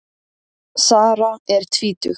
Sara er tvítug.